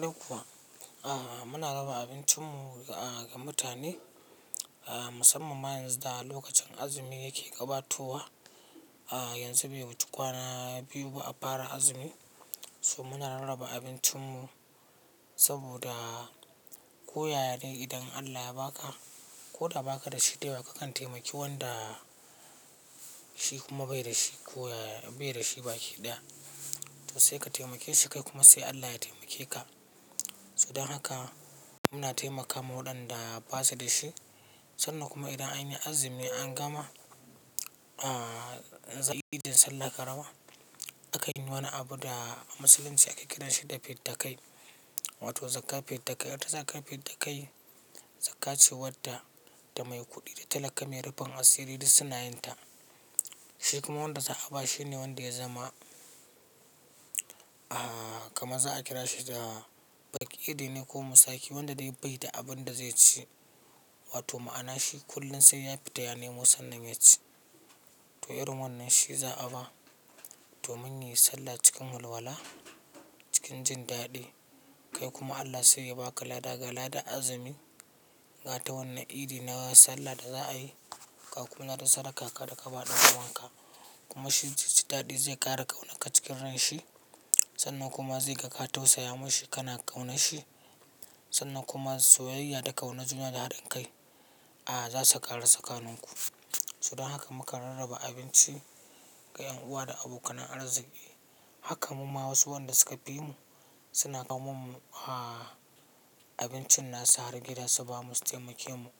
Duk kuwa, ah muna raba abincinmu ga mutane, ah musamman ma yanzu da lokacin azumi yake gabatowa. Ah yanzu bai wuce kwana biyu ba a fara azumi, so muna rarraba abincinmu saboda ko yaya ne idan Allah ya ba ka ko da ba ka da shi dayawa ka kan taimaki wanda shi kuma bai da shi ko yaya bai da shi baki ɗaya. To sai ka taimake shi kai kuma sai Allah ya taimake ka. To dan haka muna taimakama waɗanda ba su da shi sannan kuma idan anyi azumi an gama, ah, idin sallar karama, akan yi wani abu da a Musulunci ake kiranshi da fidda kai, wato zakkar fidda kai. Ita zakkar fidda kai, zakka ce wadda da mai kuɗi da talaka mai rufin asiri duk sunayinta. Shi kuma wanda za a ba shi ne wanda ya zama, ah kamar za a kira shi da faƙiri ne ko musaki wanda dai bai da abin da zai ci. Wato ma'ana shi kullum sai ya fita ya nemo sannan ya ci. To irin wannan shi za a ba domin yayi sallah cikin walwala, cikin jin daɗi. Kai kuma Allah sai ya ba ka lada ga ladan azumi ga ta wannan idi na sallah da za a yi. Ga kuma ladan sadakan ka daka bawa dan uwan ka kuma shi zaiji daɗi zai ƙara kaunar ka cikin ran shi sannan kuma zai ga ka tausaya mashi kana ƙaunar shi sannan kuma soyayya da kaunar juna da haɗin kai, ah za su ƙaru tsakaninku. To dan haka mukan rarraba abinci ga 'yan uwa da abokan arziƙi. Haka mu ma wasu wanda suka fi mu suna kawo mun ah abincin nasu har gida su ba mu su taimake mu.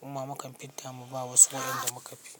Muma mukan fidda mu ba wasu waɗanda muka fi.